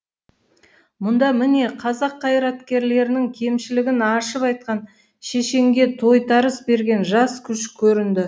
мұнда міне қазақ қайраткерлерінің кемшілігін ашып айтқан шешенге тойтарыс берген жас күш көрінді